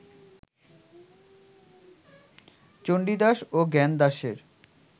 চণ্ডীদাস ও জ্ঞানদাসের